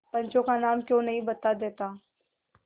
पंचों का नाम क्यों नहीं बता देता